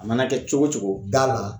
A mana kɛ cogo cogo da la.